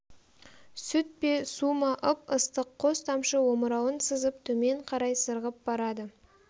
сүт пе су ма ып-ыстық қос тамшы омырауын сызып төмен қарай сырғып барады